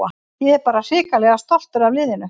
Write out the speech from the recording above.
Ég er bara hrikalega stoltur af liðinu.